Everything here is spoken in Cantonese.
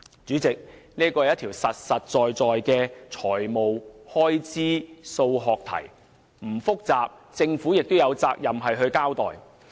主席，這是一條實在的財務開支數學題，雖然並不複雜，但政府也有責任作出交代。